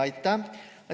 Aitäh!